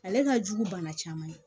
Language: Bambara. Ale ka jugu bana caman ye